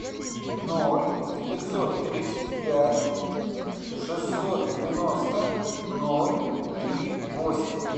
ноль девятьсот тридцать пять шестьсот девяносто ноль три восемь